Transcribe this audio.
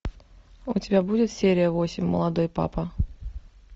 у тебя будет серия восемь молодой папа